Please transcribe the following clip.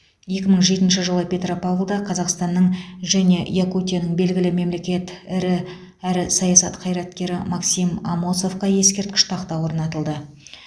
екі мың жетінші жылы петропавлда қазақстанның және якутияның белгілі мемлекет ірі әрі саясат қайраткері максим амосовқа ескерткіш тақта орнатылды